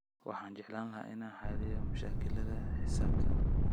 Waxaan jeclaan lahaa inaan xalliyo mashaakilaadka xisaabta